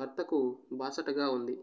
భర్తకు బాసటగా ఉంది